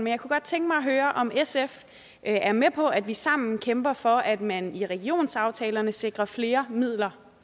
jeg kunne godt tænke mig at høre om sf er med på at vi sammen kæmper for at man i regionsaftalerne sikrer flere midler